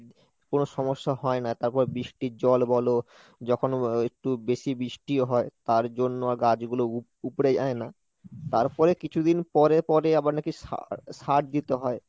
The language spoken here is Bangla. কোনো সমস্যা হয় না, তারপর বৃষ্টির জল বলো যখন যখন একটু বেশি বৃষ্টি হয় তার জন্য গাছগুলো উপড়ে যায় না, তারপরে কিছুদিন পরে পরে আবার নাকি সা~ সার দিতে হয়।